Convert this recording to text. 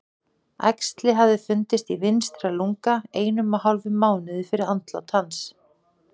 Æxli hafði fundist í vinstra lunga einum og hálfum mánuði fyrir andlát hans.